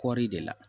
Kɔɔri de la